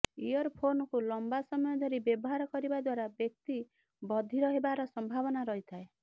ear ଫୋନକୁ ଲମ୍ବା ସମୟ ଧରି ବ୍ୟବହାର କରିବା ଦ୍ୱାରା ବ୍ୟକ୍ତି ବଧିର ହେବାର ସମ୍ଭାବନା ରହିଥାଏ